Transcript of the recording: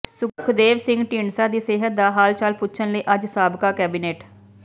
ਸੁਖਦੇਵ ਸਿੰਘ ਢੀਂਡਸਾ ਦੀ ਸਿਹਤ ਦਾ ਹਾਲਚਾਲ ਪੁੱਛਣ ਲਈ ਅੱਜ ਸਾਬਕਾ ਕੈਬਨਿਟ